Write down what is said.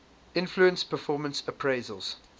influence performance appraisals